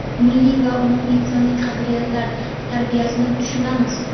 milliy va umuminsoniy qadriyatlar tarbiyasini tushunamiz.